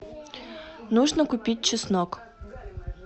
нужно купить чеснок